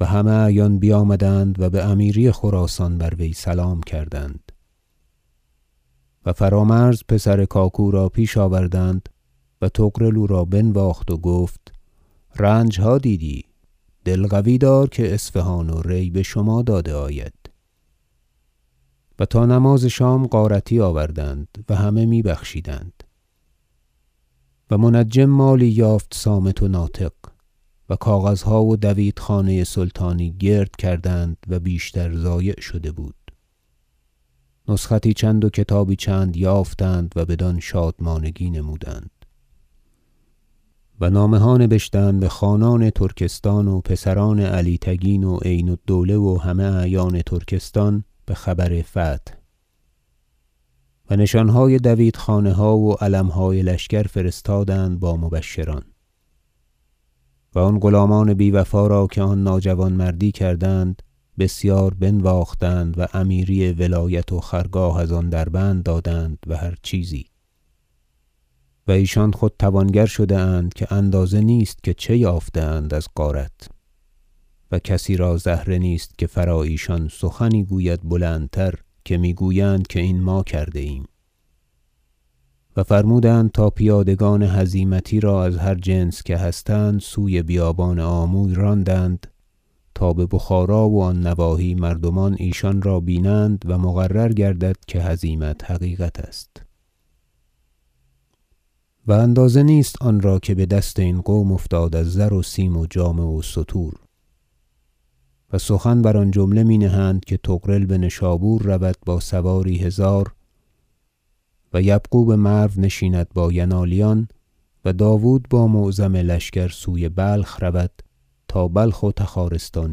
و همه اعیان بیامدند و بامیری خراسان بر وی سلام کردند و فرامرز پسر کاکو را پیش آوردند و طغرل او را بنواخت و گفت رنجها دیدی دل قوی دار که اصفهان و ری بشما داده آید و تا نماز شام غارتی آوردند و همه می بخشیدند و منجم مالی یافت صامت و ناطق و کاغذها و دویت خانه سلطانی گرد کردند و بیشتر ضایع شده بود نسختی چند و کتابی چند یافتند و بدان شادمانگی نمودند و نامه ها نبشتند بخانان ترکستان و پسران علی تگین و عین الدوله و همه اعیان ترکستان بخبر فتح و نشانهای دویت خانه ها و علمهای لشکر فرستادند با مبشران و آن غلامان بیوفا را که آن ناجوانمردی کردند بسیار بنواختند و امیری ولایت و خرگاه از آن دربند دادند و هر چیزی و ایشان خود توانگر شده اند که اندازه نیست که چه یافته اند از غارت و کسی را زهره نیست که فرا ایشان سخنی گوید بلندتر که میگویند که این ما کرده ایم و فرمودند تا پیادگان هزیمتی را از هر جنس که هستند سوی بیابان آموی راندند تا ببخارا و آن نواحی مردمان ایشان را بینند و مقرر گردد که هزیمت حقیقت است و اندازه نیست آنرا که بدست این قوم افتاد از زر و سیم و جامه و ستور و سخن بر آن جمله می نهند که طغرل بنشابور رود با سواری هزار و یبغو بمرو نشیند با ینالیان و داود با معظم لشکر سوی بلخ رود تا بلخ و تخارستان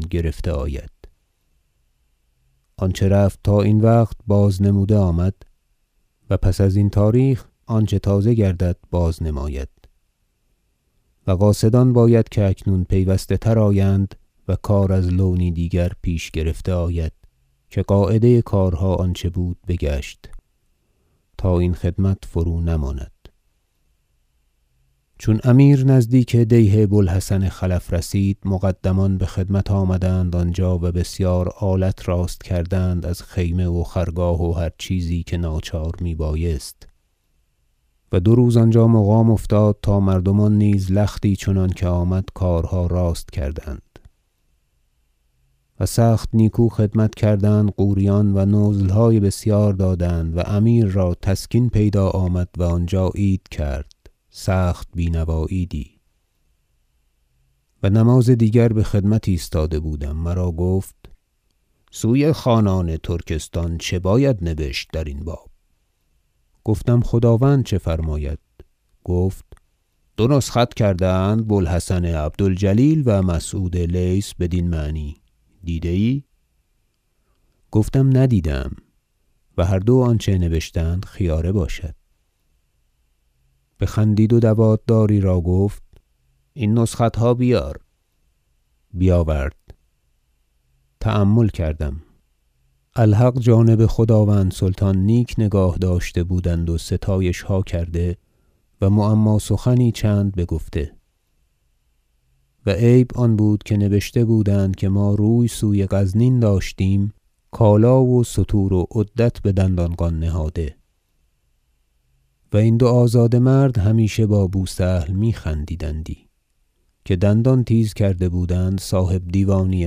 گرفته آید آنچه رفت تا این وقت باز نموده آمد و پس ازین تاریخ آنچه تازه گردد باز نماید و قاصدان باید که اکنون پیوسته تر آیند و کار از لونی دیگر پیش گرفته آید که قاعده کارها آنچه بود بگشت تا این خدمت فرونماند چون امیر نزدیک دیه بو الحسن خلف رسید مقدمان بخدمت آنجا آمدند و بسیار آلت راست کردند از خیمه و خرگاه و هر چیزی که ناچار میبایست و دو روز آنجا مقام افتاد تا مردمان نیز لختی چنانکه آمد کارها راست کردند و سخت نیکو خدمت کردند غوریان و نزلهای بسیار دادند و امیر را تسکین پیدا آمد و آنجا عید کرد سخت بینوا عیدی و نماز دیگر بخدمت ایستاده بودم مرا گفت سوی خانان ترکستان چه باید نبشت درین باب گفتم خداوند چه فرماید گفت دو نسخت کرده اند بو الحسن عبد الجلیل و مسعود لیث بدین معنی دیده ای گفتم ندیده ام و هر دو آنچه نبشتند خیاره باشد بخندید و دوات داری را گفت این نسختها بیار بیاورد تأمل کردم الحق جانب خداوند سلطان نیک نگاه داشته بودند و ستایشها کرده و معما سخنی چند بگفته و عیب آن بود که نبشته بودند که ما روی سوی غزنین داشتیم کالا و ستور و عدت بدندانقان نهاده و این دو آزاده مرد همیشه با بو سهل می- خندیدندی که دندان تیز کرده بودند صاحبدیوانی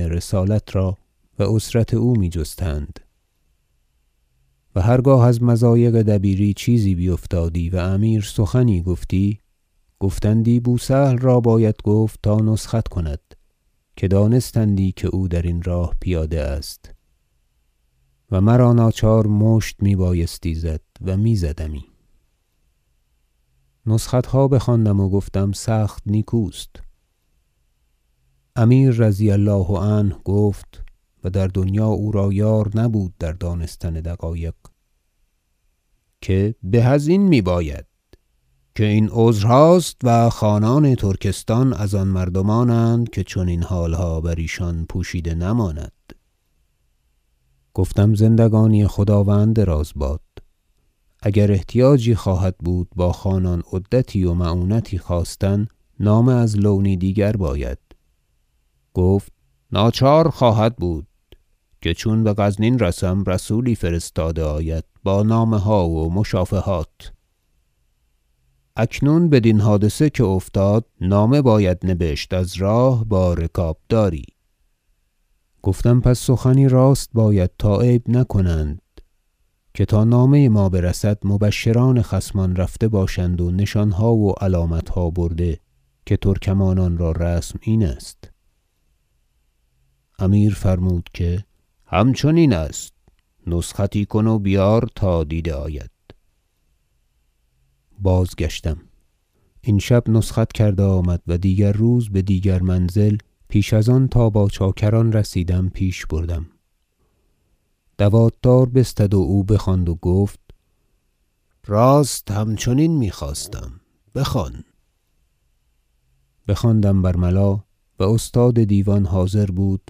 رسالت را و عثرت او می جستند و هرگاه از مضایق دبیری چیزی بیفتادی و امیر سخنی گفتی گفتندی بو سهل را باید گفت تا نسخت کند که دانستندی که او درین راه پیاده است و مرا ناچار مشت میبایستی زد و میزدمی نسختها بخواندم و گفتم سخت نیکوست امیر رضی الله عنه گفت- و در دنیا او را یار نبود در دانستن دقایق- که به ازین میباید که این عذرهاست و خانان ترکستان از آن مردمانند که چنین حالها بر ایشان پوشیده نماند گفتم زندگانی خداوند دراز باد اگر احتیاجی خواهد بود با خانان عدتی و معونتی خواستن نامه از لونی دیگر باید گفت ناچار خواهد بود که چون بغزنین رسم رسولی فرستاده آید با نامه ها و مشافهات اکنون بدین حادثه که افتاد نامه باید نبشت از راه با رکابداری گفتم پس سخنی راست باید تا عیب نکنند که تا نامه ما برسد مبشران خصمان رفته باشند و نشانها و علامتها برده که ترکمانان را رسم این است امیر فرمود که همچنین است نسختی کن و بیار تا دیده آید بازگشتم این شب نسخت کرده آمد و دیگر روز بدیگر منزل پیش از آن تا با چاکران رسیدم پیش بردم دوات دار بستد و او بخواند و گفت راست همچنین میخواستیم بخوان بخواندم بر ملا و استاد دیوان حاضر بود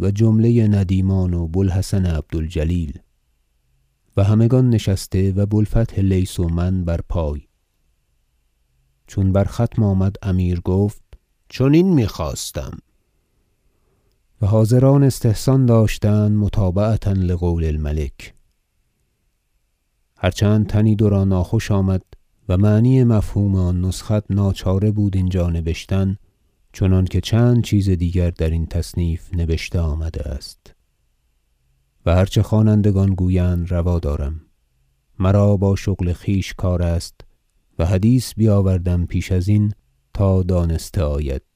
و جمله ندیمان و بو الحسن عبد الجلیل و همگان نشسته و بو الفتح لیث و من بر پای چون بر ختم آمد امیر گفت چنین میخواستم و حاضران استحسان داشتند متابعة لقول الملک هر چند تنی دو را ناخوش آمد و معنی مفهوم آن نسخت ناچاره بود اینجا نبشتن چنانکه چند چیز دیگر درین تصنیف نبشته آمده است و هر چه خوانندگان گویند روا دارم مرا با شغل خویش کار است و حدیث بیاوردم پیش ازین تا دانسته آید